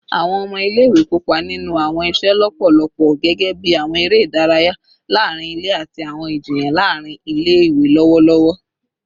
Awọn ọmọ ile-iwe kopa ninu awọn iṣe lọpọlọpọ gẹgẹbi awọn ere idaraya laarin ile ati awọn ijiyan laarin ile-iwe lọwọlọwọ